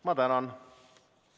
Ma tänan!